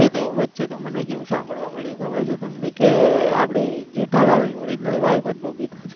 વચ્ચે તો માની કેવું સાંભળવા મળ્યું ખબર છે તમને કે જેઠાલાલની real wife જ બબીતા છે.